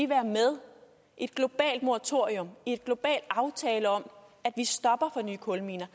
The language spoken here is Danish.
være med i et globalt moratorium en global aftale om at vi stopper for nye kulminer